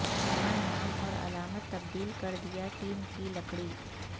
نیا نام اور علامت تبدیل کر دیا ٹیم کی لکڑی